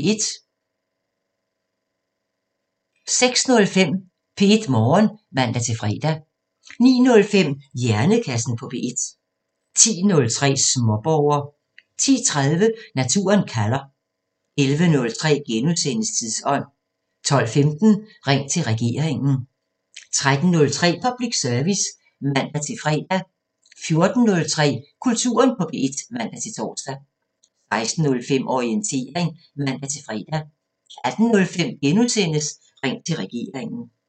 06:05: P1 Morgen (man-fre) 09:05: Hjernekassen på P1 10:03: Småborger 10:30: Naturen kalder 11:03: Tidsånd * 12:15: Ring til regeringen 13:03: Public Service (man-fre) 14:03: Kulturen på P1 (man-tor) 16:05: Orientering (man-fre) 18:05: Ring til regeringen *